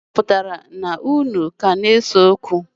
Ọ pụtara na unu ka ga-ese okwu?